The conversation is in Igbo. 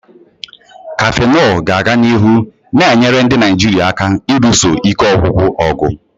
Cafenol ga-aga n'ihu na-enyere ndị Naijiria aka ịlụso ike ọgwụgwụ ọgụ.